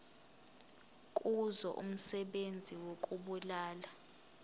kuzo umsebenzi wokubulala